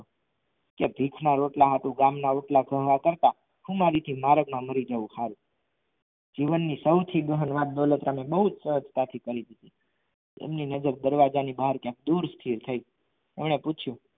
કે ભિક ના રોટલા હાતું ગામ ના રોટલા ગણવા કરતાં મારદ મા મારી જવું હરું જીવન ની સાવથી દહાલ અંદલોનતા બોજ કરી એમની નજર દરવાજાની ની બહાર ક્યાક દૂર સુધી થઈ કોને પૂછ્યું